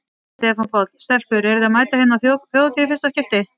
Stefán Páll: Stelpur eruð þið að mæta hérna á Þjóðhátíð í fyrsta skipti?